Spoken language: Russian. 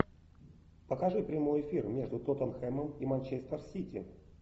покажи прямой эфир между тоттенхэмом и манчестер сити